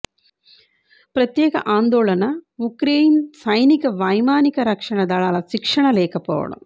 ప్రత్యేక ఆందోళన ఉక్రెయిన్ సైనిక వైమానిక రక్షణ దళాల శిక్షణ లేకపోవడం